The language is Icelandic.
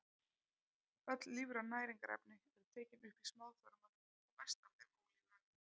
Öll lífræn næringarefni eru tekin upp í smáþörmunum og mest af þeim ólífrænu.